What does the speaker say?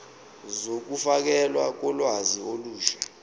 zokufakelwa kolwazi olusha